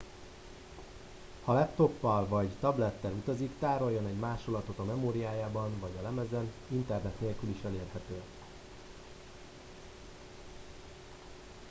ha laptoppal vagy tablettel utazik tároljon egy másolatot a memóriájában vagy a lemezen internet nélkül is elérhető